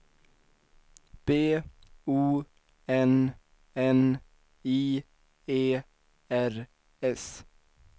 B O N N I E R S